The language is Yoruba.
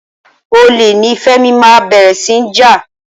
Olè ni Fẹ́mi máa bẹ̀rẹ̀ sí ní jà.